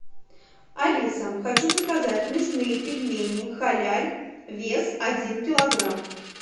алиса хочу заказать мясные пельмени халяль вес один килограмм